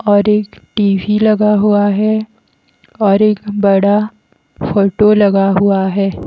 और एक TV लगा हुआ है और एक बड़ा फोटो लगा हुआ है।